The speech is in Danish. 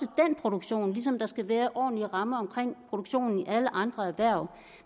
produktion ligesom der også skal være ordentlige rammer om produktionen i alle andre erhverv